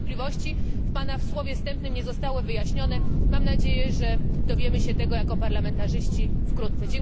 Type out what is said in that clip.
Te wątpliwości w Pana słowie wstępnym nie zostały wyjaśnione, mam nadzieję, że dowiemy się tego jako parlamentarzyści wkrótce.